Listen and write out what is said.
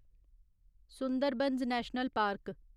Sundarbans national park